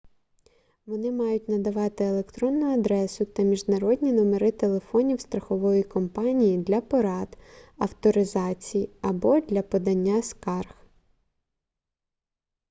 вони мають надавати електронну адресу та міжнародні номери телефонів страхової компанії для порад/авторизації або для подання скарг